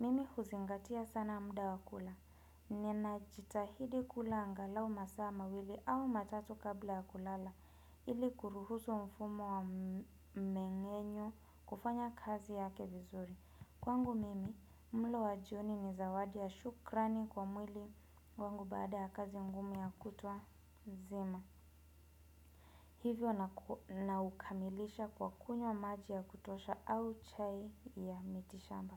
Mimi huzingatia sana muda wa kula. Ninajitahidi kula angalau masaa mawili au matatu kabla ya kulala ili kuruhusu mfumo wa mmeng'enyo. Kufanya kazi yake vizuri. Kwangu mimi mlo wa jioni ni zawadi ya shukrani kwa mwili wangu baada ya kazi ngumu ya kutwa nzima. Hivyo naukamilisha kwa kunywa maji ya kutosha au chai ya mitishamba.